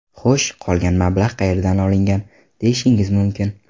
Xo‘sh, qolgan mablag‘ qayerdan olingan, deyishingiz mumkin.